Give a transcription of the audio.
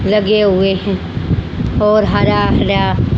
लगे हुए की और हरा हरा--